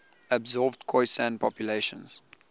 absorbed khoisan populations